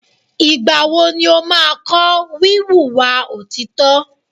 Ìgbà wo ni o máa kọ́ wí wùwà òtítọ́?